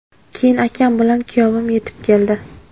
Keyin akam bilan kuyovim yetib keldi.